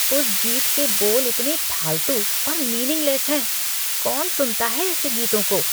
उस गीत के बोल इतने फालतू और मीनिंगलेस हैं। कौन सुनता है ऐसे गीतों को!